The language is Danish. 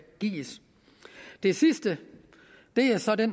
gives det sidste er så det